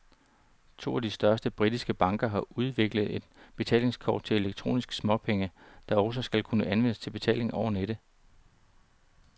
To af de største britiske banker har udviklet et betalingskort til elektroniske småpenge, der også skal kunne anvendes til betaling over nettet.